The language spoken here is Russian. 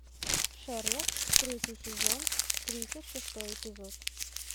шерлок третий сезон тридцать шестой эпизод